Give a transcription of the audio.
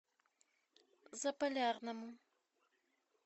заполярному